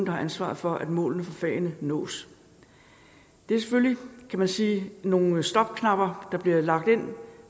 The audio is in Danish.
har ansvaret for at målene for fagene nås det er selvfølgelig kan man sige nogle stopknapper der bliver lagt ind